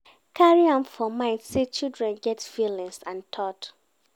carry am for mind sey children get feelings and thought